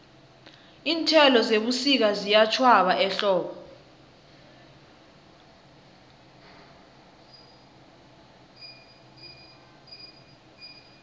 iinthelo zebusika ziyatjhwaba ehlobo